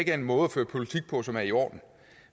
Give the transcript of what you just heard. er en måde at føre politik på som er i orden